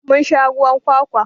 Mun sha ruwan kwakwa.